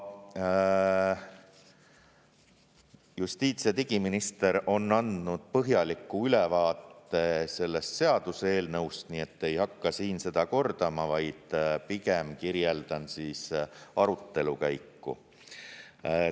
Justiits- ja digiminister on andnud põhjaliku ülevaate sellest seaduseelnõust, nii et ei hakka siin seda kordama, vaid pigem kirjeldan arutelukäiku.